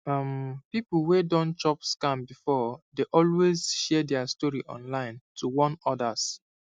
um people wey don chop scam before dey always share their story online to warn others